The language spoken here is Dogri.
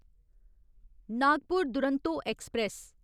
नागपुर दुरंतो ऐक्सप्रैस